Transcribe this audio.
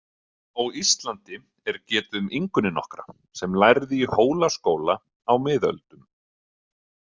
Á Íslandi er getið um Ingunni nokkra sem lærði í Hólaskóla á miðöldum.